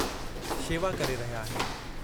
शेवा करे रहिया आहिनि।